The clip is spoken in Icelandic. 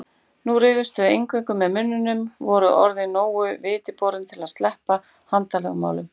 Nú rífast þau eingöngu með munninum, eru orðin nógu vitiborin til að sleppa handalögmálum.